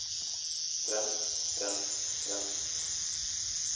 fremst fremst fremst